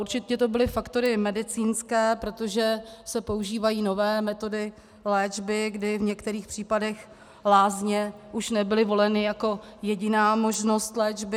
Určitě to byly faktory medicínské, protože se používají nové metody léčby, kdy v některých případech lázně už nebyly voleny jako jediná možnost léčby.